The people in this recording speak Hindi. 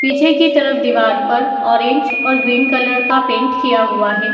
पीछे की तरफ दीवार पर ऑरेंज और ग्रीन कलर का पेंट किया हुआ है।